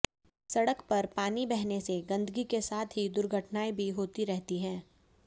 सड़क पर पानी बहने से गंदगी के साथ ही दुर्घटनाएं भी होती रहती हैं